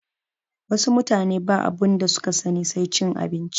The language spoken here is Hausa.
Wasu mutane babu abinda suka sani sai cin abinci